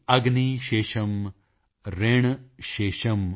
ਅਗਨੀ ਸ਼ੇਸ਼ਮ੍ ਰਿਣ ਸ਼ੇਸ਼ਮ੍